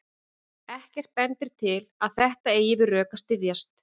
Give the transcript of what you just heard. Ekkert bendir til að þetta eigi við rök að styðjast.